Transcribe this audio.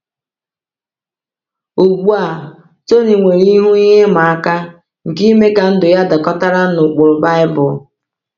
Ugbu a, Tony nwere ihu ihe ịma aka nke ime ka ndụ ya dakọtara na ụkpụrụ Baịbụl.